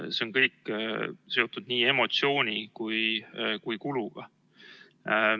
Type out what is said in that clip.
See on kõik seotud nii emotsiooni kui ka kuluga.